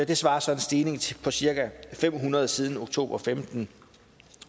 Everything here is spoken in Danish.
det svarer til en stigning på cirka fem hundrede siden oktober og femten